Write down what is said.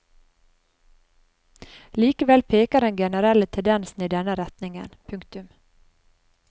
Likevel peker den generelle tendensen i denne retningen. punktum